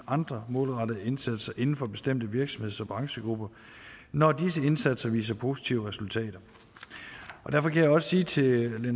andre målrettede indsatser inden for bestemte virksomheds og branchegrupper når disse indsatser visse positive resultater og derfor kan jeg også sige til